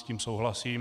S tím souhlasím.